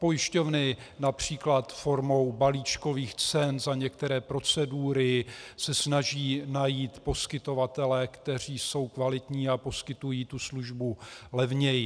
Pojišťovny například formou balíčkových cen za některé procedury se snaží najít poskytovatele, kteří jsou kvalitní a poskytují tu službu levněji.